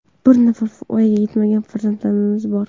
Bir nafar voyaga yetmagan farzandimiz bor.